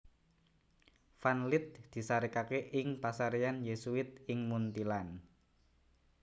Van Lith disarèkaké ing pasaréyan Yésuit ing Munthilan